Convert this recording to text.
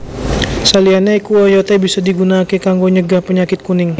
Saliyane iku oyote bisa digunakake kanggo nyegah penyakit kuning